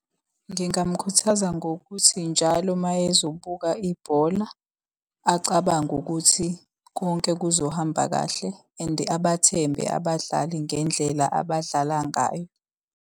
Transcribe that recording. Ngingamkhuthaza ngokuthi njalo uma ezobuka ibhola, acabange ukuthi konke kuzohamba kahle and abathembe abadlali ngendlela abadlala ngayo.